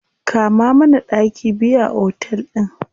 Kama mana ɗaki biyu a otel ɗin.